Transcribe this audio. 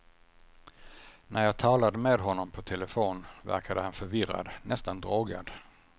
När jag talade med honom på telefon verkade han förvirrad, nästan drogad.